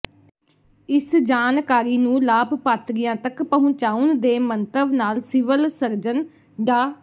ਇਸ ਜਾਣਕਾਰੀ ਨੂੰ ਲਾਭਪਾਤਰੀਆਂ ਤਕ ਪਹੁੰਚਾਉਣ ਦੇ ਮੰਤਵ ਨਾਲ ਸਿਵਲ ਸਰਜਨ ਡਾ